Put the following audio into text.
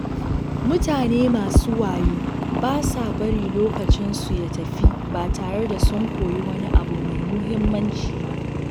Mutane masu wayo ba sa bari lokacinsu ya tafi ba tare da sun koyi wani abu mai muhimmanci ba.